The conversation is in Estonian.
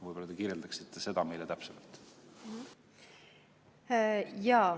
Võib-olla te kirjeldaksite seda meile täpsemalt?